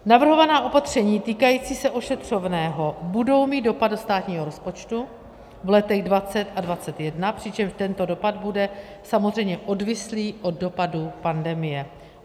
Navrhovaná opatření týkající se ošetřovného budou mít dopad do státního rozpočtu v letech 2020 a 2021, přičemž tento dopad bude samozřejmě odvislý od dopadu pandemie.